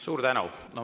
Suur tänu!